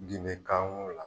Ginde kan wow la